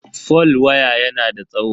fol waya yana da tsawo.